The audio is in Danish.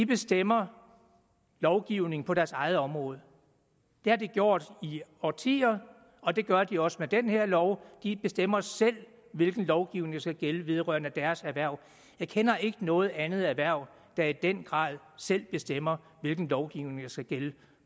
bestemmer lovgivningen på deres eget område det har de gjort i årtier og det gør de også med den her lov de bestemmer selv hvilken lovgivning der skal gælde vedrørende deres erhverv jeg kender ikke noget andet erhverv der i den grad selv bestemmer hvilken lovgivning der skal gælde